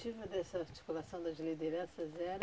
O objetivo dessa articulação das lideranças era?